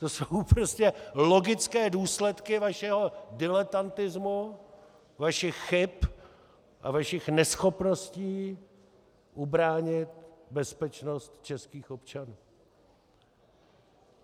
To jsou prostě logické důsledky vašeho diletantismu, vašich chyb a vašich neschopností ubránit bezpečnost českých občanů.